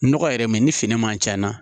Nɔgɔ yɛrɛ mɛ ni fini man ca